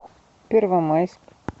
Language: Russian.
первомайск